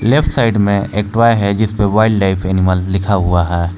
Left side मे एक toy है जिस पे वाइल्ड लाइफ एनिमल लिखा हुआ है।